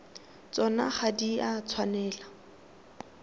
tsona ga di a tshwanela